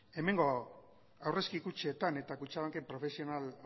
hemengo aurrezki kutxetan eta kutxabanken profesional